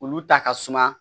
Olu ta ka suma